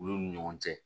Olu ni ɲɔgɔn cɛ